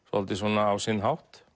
svolítið svona á sinn hátt